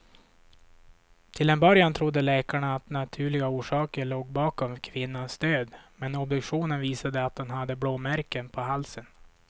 Till en början trodde läkarna att naturliga orsaker låg bakom kvinnans död, men obduktionen visade att hon hade blåmärken på halsen.